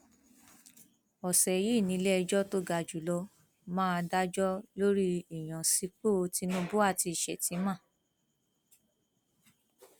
ọsẹ yìí níléẹjọ tó ga jù lọ máa dájọ lórí ìyànsípò tinubu àti sheffman